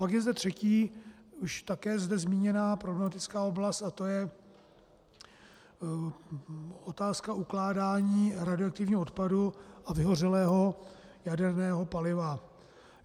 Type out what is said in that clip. Pak je zde třetí, už také zde zmíněná problematická oblast a tou je otázka ukládání radioaktivního odpadu a vyhořelého jaderného paliva.